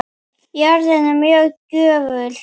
Jörðin er mjög gjöful.